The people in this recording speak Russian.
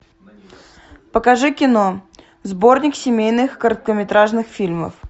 покажи кино сборник семейных короткометражных фильмов